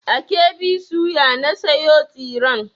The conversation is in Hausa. A KB soya na sayo tsiren.